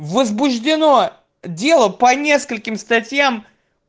возбуждено дело по нескольким статьям